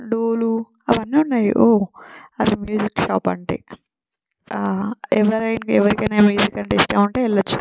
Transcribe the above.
లూలూ అవి అన్నీ ఉన్నాయ్ ఓహ్ అది మ్యూజిక్ షాప్ అంటే హా ఎవరైనా ఎవరికైనా మ్యూజిక్ అంటే ఇష్టం ఉంటే వెళ్లొచ్చు .